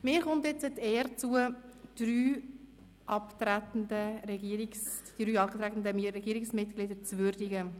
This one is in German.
Mir wird nun die Ehre zuteil, drei abtretende Regierungsmitglieder zu würdigen: